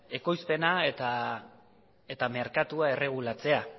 ekoizpena eta merkatua erregulatzea